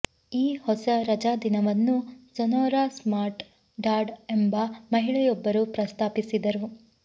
ಈ ಹೊಸ ರಜಾದಿನವನ್ನು ಸೊನೋರಾ ಸ್ಮಾರ್ಟ್ ಡಾಡ್ ಎಂಬ ಮಹಿಳೆಯೊಬ್ಬರು ಪ್ರಸ್ತಾಪಿಸಿದರು